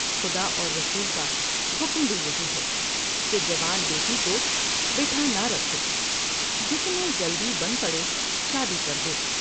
خدا اور رسول کا حکم بھی یہی ہے کہ جوان بیٹی کو بٹھا نہ رکھو ، جتنے جلدی بن پڑے شادی کر دو ۔